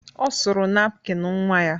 Ọ suru napkin nnwa ya.